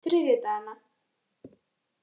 þriðjudagana